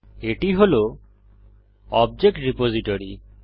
এটি হল object repository